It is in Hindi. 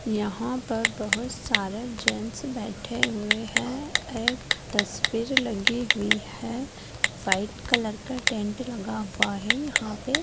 यहाँ पर बहुत सारे जैंट्स बैठे हुए है एक तस्वीर लगी हुई है व्हाइट कलर का टेंट लगा हुआ है यहाँ पे--